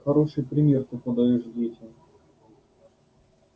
хороший пример ты подаёшь детям